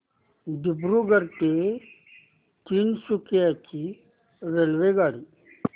दिब्रुगढ ते तिनसुकिया ची रेल्वेगाडी